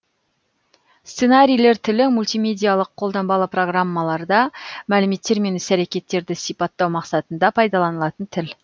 сценарийлер тілі мультимедиалық қолданбалы программаларда мәліметтер мен іс әрекеттерді сипаттау мақсатында пайдаланылатын тіл